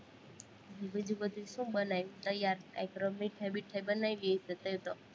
બીજું બધું શું બનાવું, તૈયાર કઈ મીઠાઈ-બીઠાઇ બનાવી હશે, તઈ તો